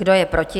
Kdo je proti?